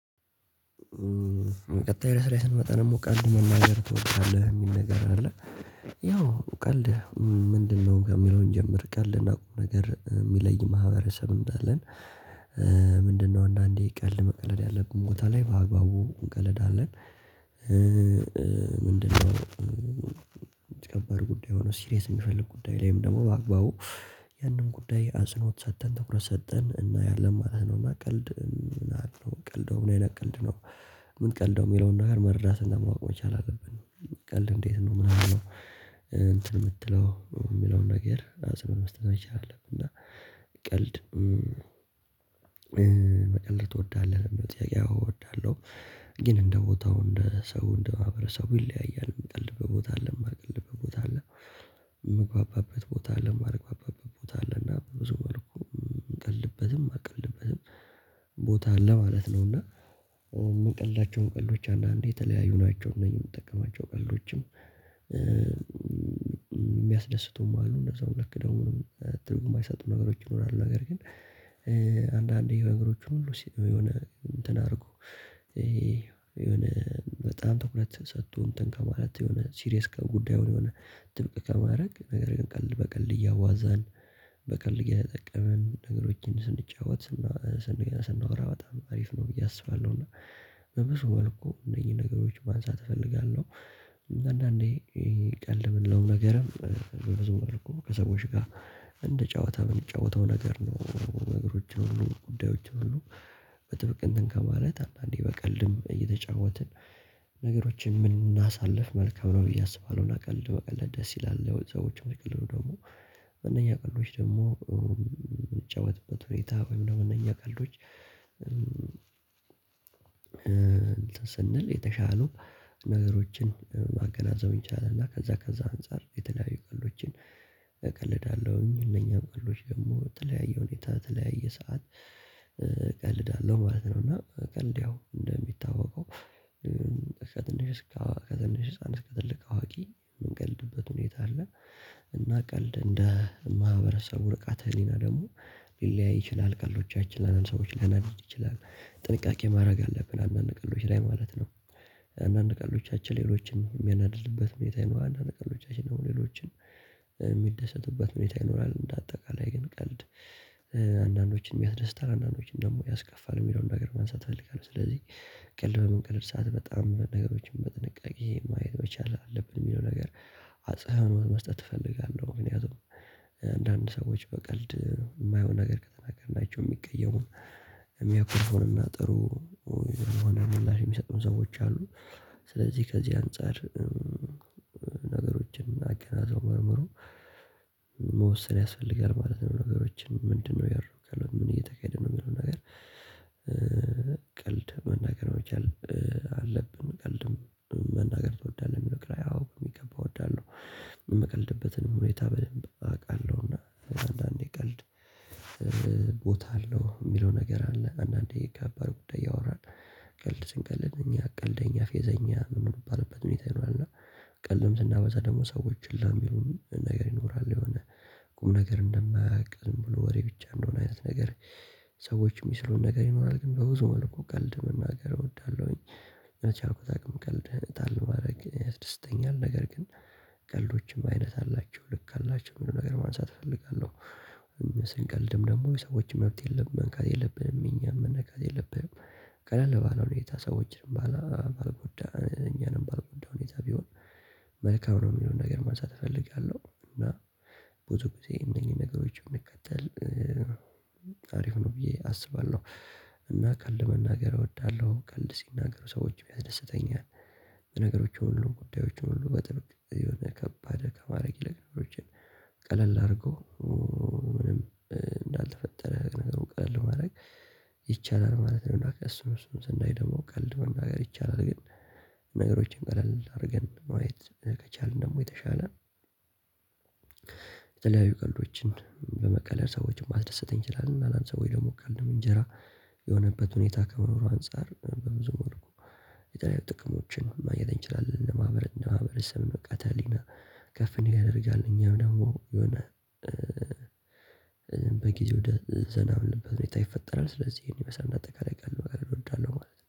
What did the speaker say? ቀጣይ ርዕስ ላይ ስንመጣ ደግሞ ቀልድ መናገር ትወደዳለህ የሚል ነገር አለ ያው ቀልድ ምንድነው? ከሚለው እንጀምር ቀልድና ቁም ነገር የሚለይ ማህበረሰብ እንዳለን ምንድነው አንዳንዴ ቀልድ መቀለድ ያለብን ቦታ ላይ በአግባቡ እንቀለዳለን ምንድነው የተከበር ጉዳይ ሆኖ ሲሪየስ የሚፈልግ ጉዳይ ላይም ደግሞ በአግባቡ ያንን ጉዳይ አጸኖት ሰጥተን ትኩረት ሰጥተን እናያለን ማለት ነው እና ቀልድ አ ምቀልደው ምን አይነት ቀልድ ነው ምንቀልደው የሚለውን ነገር መረዳትና ማወቅ መቻል አለብን ቀልድ እንዴት ነው ምናምን ነው እንትን የምትለው የሚለውን ነገር ሀሳብ መስጠት መቻል አለብን እና ቀልድ መቀለድ ትወዳለህ? ለሚለው ጥያቄ ያው እወዳለሁ ግን እንደ ቦታው እንደ ሰው እንደ ማህበረሰቡ ይለያያል። የምቀልድበት ቦታ አለ የማልቀልድበት ቦታ አለ፤ የምግባባበት ቦታ አለ የማልግባባበት ቦታ አለ እና ብዙ መልኩ የምቀልድበትም ማልቀልድበትም ቦታ አለ ማለት ነው እና የምቀልዳቸውን ቀልዶች አንዳንዴ የተለያዩ ናቸው እነዚህ የምጠቀማቸው ቀልዶችም የሚያስደስቱም አሉ በዛው ልክ ደግሞ ትርጉም የማይሰጡ ነገሮች ይኖራሉ ነገር ግን አንዳንዴ የነገሮቹ ሁሉ የሆነ እንትን አድርጎ የሆነ በጣም ትኩረት ሰጥቶ እንትን ከማለት የሆነ ሲሪየስ ጉዳዩን የሆነ ጥብቅ ከማድረግ ነገር ግን ቀልድ በቀልድ እያዋዛን በቀልድ እየተጠቀምን ነገሮችን ስንጫወት ስንገና ስንወራ በጣም አሪፍ ነው ብዬ አስባለሁ እና በብዙ መልኩ እነኚህ ነገሮች ማንሳት እፈልጋለሁ አንዳንዴ ቀልድ የምንለውም ነገርም በብዙ መልኩ ከሰዎች ጋር እንደ ጨዋታ የምንጫወተው ነገር ነው ነገሮችን ሁሉ ጉዳዮችን ሁሉ በጥብቅ እንትን ከማለት አንዳንዴ በቀልድም እየተጫወትን ነገሮችን የምናሳልፍ መልካም ነው ብዬ አስባለሁ እና ቀልድ መቀለድ ደስ ይላል ሰዎችን ቢቀልዱ ደግሞ እነኛ ቀልዶች ደግሞ የምንጫወትበት ሁኔታ ወይም ደግሞ እነኚህ ቀልዶች ስንል የተሻሉ ነገሮችን ማገናዘቡ ይቻላል እና ከዛ ከዛ አንፃር የተለያዩ ቀልዶችን እቀልዳለሁኝ እነኛ ቀልዶች ደግሞ የተለያየ ሁኔታ የተለያየ ሰዓት አለው ማለት ነው እና ቀልድ ያው እንደሚታወቀው ከትንሽ ከትንሽ አንስቶ እስከ ትልቅ አዋቂ የምንቀልድበት ሁኔታ አለ እና ቀልድ እንደ ማህበረሰቡ ንቃተ ህሊና ደግሞ ሊለያይ ይችላል ቀልዶቻችን ላንዳንድ ሰዎች ሊያናድድ ይችላል ጥንቃቄ ማድረግ አለብን አንዳንድ ቀልዶች ላይ ማለት ነው አንዳንድ ቀልዶቻችን ሌሎችን የሚያናድድበት ሁኔታ ይኖራል አንዳንድ ቀልዶቻችን ደግሞ ሌሎችን የሚደሰቱበት ሁኔታ ይኖራል እንደ አጠቃላይ ግን ቀልድ አንዳንዶችን ያስደስታል አንዳንዶችን ደግሞ ያስከፋል የሚለውን ነገር ማንሳት እፈልጋለህ ስለዚህ ቀልድ በምንቀልድ ሰዓት በጣም ነገሮችን በጥንቃቄ ማየት መቻል አለብን የሚለው ነገር አጽህኖት መስጠት እፈልጋለሁ ምክንያቱም አንዳንድ ሰዎች በቀልድ የማይሆን ነገር ከተናገርናቸው የሚቀየሙን የሚያኮርፉንና ጥሩ የሆነ ምላሽ የሚሰጡን ሰዎች አሉ ስለዚህ ከዚህ አንፃር ነገሮችን አገናዝቦ መርምሮ መወሰን ያስፈልጋል ማለት ነው ነገሮችን ምንድነው እያደረኩ ያለውት ምን እየተካሄደ ነው የሚለው ነገር ቀልድ መናገር መቻል አለብን ቀልድም መናገር ትወዳለህ የሚለውክ ላይ አዎ በሚገባ እወዳለሁ የምቀልድበትን ሁኔታ በደንብ አውቃለሁና አንዳንዴ ቀልድ ቦታ አለው የሚለው ነገር አለ። አንዳንዴ ከባድ ጉዳይ እያወራን ቀልድ ስንቀልድ እኛ ቀልደኛ ፌዘኛ የምንባልበት ሁኔታ ይኖራል እና ቀልድም ስናበዛ ደግሞ ሰዎች ለሚሉን ነገር ይኖራል የሆነ ቁም ነገር እንደማያውቅ ዝም ብሎ ወሬ ብቻ እንደሆነ አይነት ነገር ሰዎች የሚስሉን ነገር ይኖራል ግን በብዙ መልኩ ቀልድ መናገር እወዳለሁኝ በቻልኩት አቅም ቀልድ ጣል ማድረግ ያስደስተኛል ነገር ግን ቀልዶችም አይነት አላቸው ልክ አላቸው የሚለውን ነገር ማንሳት እፈልጋለሁ ስንቀልድም ደግሞ የሰዎች መብት የለብንም መንካት የለብንም የእኛም መነካት የለብንም ቀለል ባለው ሁኔታ ሰዎችንም ባልጎዳ እኛንም ባልጎዳ ሁኔታ ቢሆን መልካም ነው የሚለውን ነገር ማንሳት እፈልጋለሁ እና ብዙ ጊዜ እነኚህን ነገሮች ብንከተል አሪፍ ነው ብዬ አስባለሁ። እና ቀልድ መናገር እወዳለሁ ቀልድ ሲናገሩ ሰዎች ያስደስተኛል ነገሮችን ሁሉ ጉዳዮችን ሁሉ በጥብቅ የሆነ ከባድ ከማድረግ ይልቅ ጉዳዮችን ቀለል አድርገው ምንም እንዳልተፈጠረ ቀለል ማድረግ ይቻላል ማለት ነው እና እሱን እሱን ስናይ ደግሞ ቀልድ መናገር ይቻላል ግን ነገሮችን ቀለል አድርገን ማየት ከቻልን ደግሞ የተሻለ የተለያዩ ቀልዶችን በመቀለድ ሰዎችን ማስደሰት እንችላለን ላንዳንድ ሰዎች ደግሞ ቀልድም እንጀራ የሆነበት ሁኔታ ከመኖሩ አንፃር በብዙ መልኩ የተለያዩይ ጥቅሞችን ማየት እንችላለን ለማህበረስብ ንቃተህሊና ከፍ እንዲል ያደርጋል እኛም ደግሞ የሆነ በጊዜው ደዘና የምንለበት ሁኔታ ይፈጠራል ስለዚህ ይሄን ይመስላል። እንደ አጠቃላይ ቀልድ እወዳለሁ ማለት ነው።